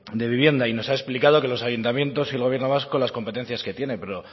de vivienda y nos ha explicado que los ayuntamientos y el gobierno vasco las competencias que tiene pero